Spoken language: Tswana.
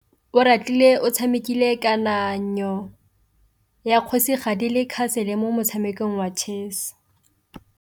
Oratile o tshamekile kananyô ya kgosigadi le khasêlê mo motshamekong wa chess.